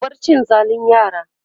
ku bar cin zalin yara!